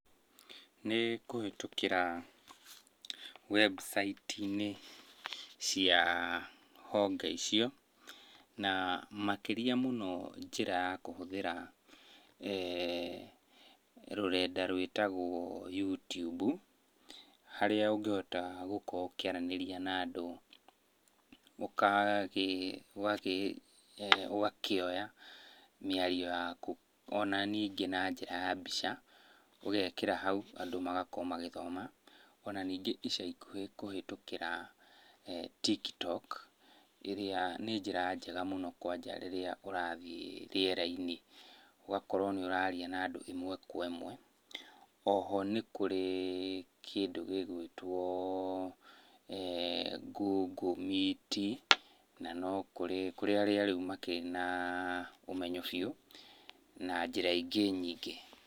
Nĩ kũhĩtũkĩra website -inĩ cia honge icio na makĩria mũno njĩra ya kũhũthĩra rũrenda rwĩtagwo Youtube, harĩa ũngĩhota gũkorwo ũkĩaranĩria na andũ ũgakĩoya mĩario yaku ona ningĩ na njĩra ya mbica ũgekĩra hau andũ magakorwo magĩthoma. Ona ningĩ ica ikuhĩ kũhĩtũkĩra TikTok, ĩrĩa nĩ njĩra njega mũno kwanja rĩrĩa ũrathiĩ rĩera-inĩ, ũgakorwo nĩũraria na andũ ĩmwe kwa ĩmwe. Oho nĩ kũrĩ kĩndũ gĩgwĩtwo Google Meet na no kũrĩ, kũrĩ arĩa rĩu makĩrĩ na ũmenyo biũ na njĩra ingĩ nyingĩ.